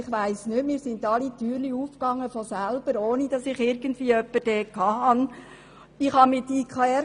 Ich weiss nicht, für mich gingen alle Türen von selber auf, ohne dass ich jemanden vor Ort gehabt habe.